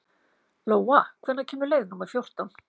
Lóa, hvenær kemur leið númer fjórtán?